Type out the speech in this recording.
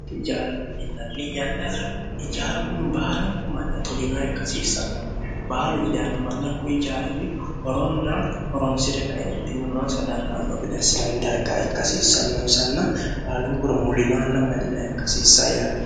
ijaaralu minnanni yannara ijaaru kuni baalankumanna tolinoa ikkasiissannati baalu widaano mannakku ijaarinni horonna horonsi're kaeentinne moonsa dandaannoo geda hissinanni darga ikkasiissannonsanna baalunkura mulino anna malinoa ikkasiissa yaate